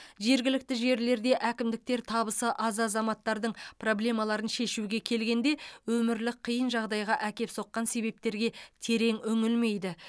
жергілікті жерлерде әкімдіктер табысы аз азаматтардың проблемаларын шешуге келгенде өмірлік қиын жағдайға әкеп соққан себептерге терең үңілмейді